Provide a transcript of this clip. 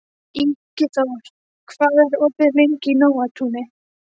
Ingiþór, hvað er opið lengi í Nóatúni?